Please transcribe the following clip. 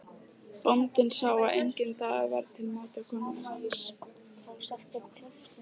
Bóndinn sá að enginn dagur var til máta konu hans.